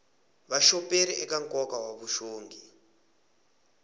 vuxoperi eka nkoka wa vuxongi